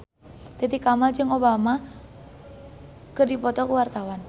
Titi Kamal jeung Obama keur dipoto ku wartawan